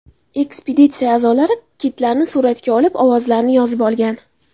Ekspeditsiya a’zolari kitlarni suratga olib, ovozlarini yozib olgan.